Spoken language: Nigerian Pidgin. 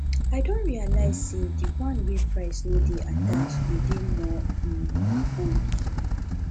i don realize say di one wey price no de attached dey de more um fun